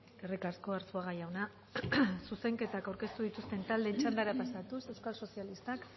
eskerrik asko arzuaga jauna zuzenketak aurkeztu dituzten taldeen txandara pasatuz euskal sozialistak